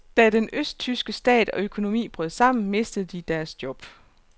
Da den østtyske stat og økonomi brød sammen, mistede de deres job.